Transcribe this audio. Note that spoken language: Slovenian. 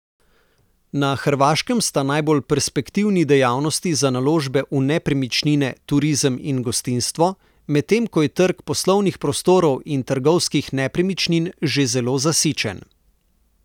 Na Hrvaškem sta najbolj perspektivni dejavnosti za naložbe v nepremičnine turizem in gostinstvo, medtem ko je trg poslovnih prostorov in trgovskih nepremičnin že zelo zasičen.